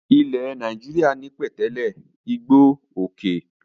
Ilẹ̀ Nàìjíríà ní pẹ̀tẹ́lẹ̀, igbó, òkè.